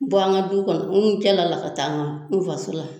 Bɔ an ka du kɔnɔ n kɛlɛla ka taa n faso la